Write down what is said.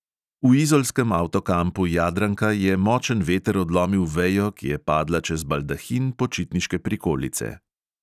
V izolskem avtokampu jadranka je močen veter odlomil vejo, ki je padla čez baldahin počitniške prikolice.